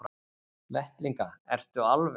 Vettlinga, ertu alveg.